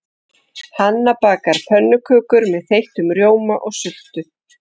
Hanna bakar pönnukökur með þeyttum rjóma og sultu.